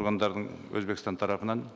органдардың өзбекстан тарапынан